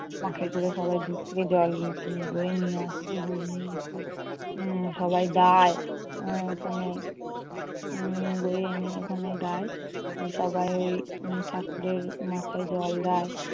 বাঁকে করে সবাই দূর থেকে জল নি~ বয়ে নিয়ে আসে। বয়ে নিয়ে এসে এর সবাই যায় উম ওখানে উম বয়ে এনে ওখানে দেয় সবাই ওই ঠাকুরের মাথায় জল দেয়.